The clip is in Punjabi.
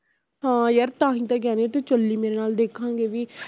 ਹਾਂ ਯਾਰ ਤਾਂਹੀਂ ਤਾਂ ਕਹਿੰਦੀ ਤੂੰ ਚਲੀ ਮੇਰੇ ਨਾਲ ਦੇਖਾਂਗੇ ਵੀ